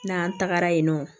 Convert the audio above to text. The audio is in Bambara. N'an tagara yen nɔ